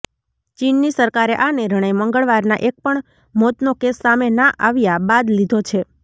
ચીનની સરકારે આ નિર્ણય મંગળવારનાં એક પણ મોતનો કેસ સામે ના આવ્યા બાદ લીધો છે